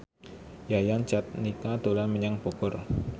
Yayan Jatnika dolan menyang Bogor